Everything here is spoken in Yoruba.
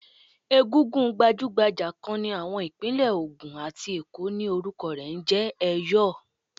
Egúngún gbajúgbajà kan ní àwọn Ìpínlẹ̀ Ògùn àti Èkó ni orúkọ rẹ̀ ń jẹ́ Ẹ̀yọ̀.